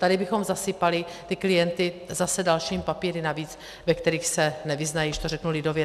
Tady bychom zasypali ty klienta zase dalšími papíry navíc, ve kterých se nevyznají, když to řeknu lidově.